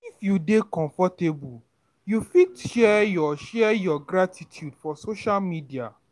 If you dey comfortable, you fit share your your gratitude for social media